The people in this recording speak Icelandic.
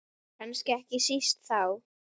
Kannski ekki síst þá.